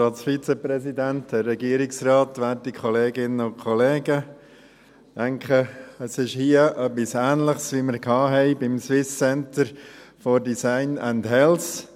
Ich denke, es ist hier etwas Ähnliches, wie wir es beim Swiss Center for Design and Health (SCDH) hatten.